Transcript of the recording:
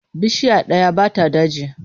Bishiya ɗaya ba ta daji.